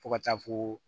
Fo ka taa fo